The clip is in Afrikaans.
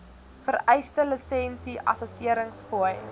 vereiste lisensie assesseringsfooi